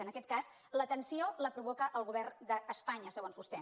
en aquest cas la tensió la provoca el govern d’espanya segons vostè